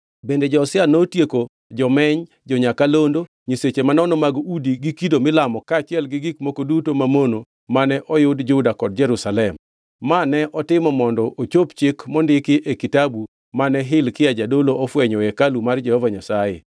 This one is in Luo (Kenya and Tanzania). Bende Josia notieko jomeny, jo-nyakalondo, nyiseche manono mag udi gi kido milamo kaachiel gi gik moko duto mamono mane oyud Juda kod Jerusalem. Ma ne otimo mondo ochop chik mondiki e kitabu mane Hilkia jadolo ofwenyo e hekalu mar Jehova Nyasaye.